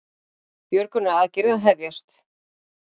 Björgunaraðgerðir að hefjast